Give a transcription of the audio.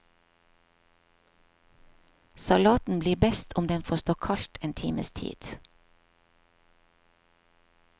Salaten blir best om den får stå kaldt en times tid.